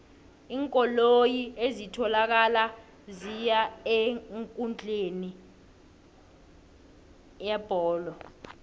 iinkoloyi ezitholakala ziya eenkundleni yebholo